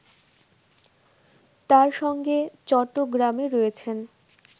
তার সঙ্গে চট্টগ্রামে রয়েছেন